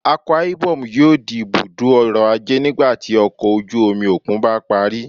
Akwa Ibom yoo di ibudo ọrọ-aje nigbati ọkọ oju-omi okun ba pari